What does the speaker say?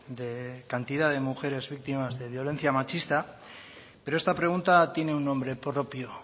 de cantidad de mujeres víctimas de violencia machista pero esta pregunta tiene un nombre propio